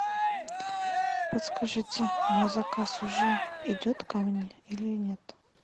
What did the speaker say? подскажите мой заказ уже идет ко мне или нет